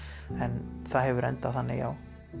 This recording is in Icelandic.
en það hefur endað þannig já